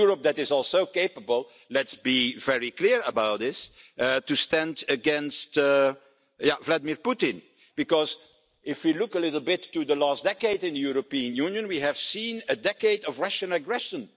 A Europe that is also capable let's be very clear about this to stand up against Vladimir Putin, because if you look a little bit at the last decade in the European Union, we have seen a decade of Russian aggression.